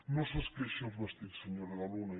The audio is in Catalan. no s’esqueixi els vestits senyora de luna